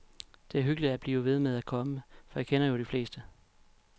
Det er hyggeligt at blive ved med at komme, for jeg kender jo de fleste.